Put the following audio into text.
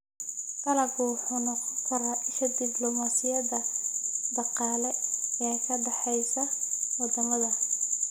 Dalaggu wuxuu noqon karaa isha dibloomaasiyadda dhaqaale ee ka dhaxaysa wadamada.